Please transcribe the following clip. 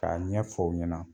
K'a ɲɛ fɔ ɲɛna.